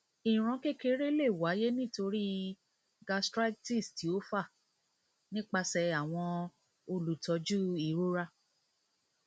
iron kekere le waye nitori gastritis ti o fa nipasẹ awọn olutọju irora